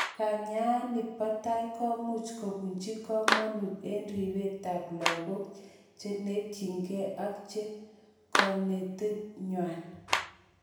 Kanyaani bo tai komuch kobunji komonut en ripetab logok chenekityin ak kimnotetnywan.